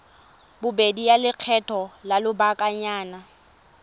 bobedi ya lekgetho la lobakanyana